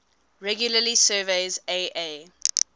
regularly surveys aa